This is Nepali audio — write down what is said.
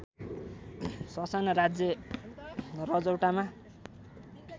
ससाना राज्य रजौटामा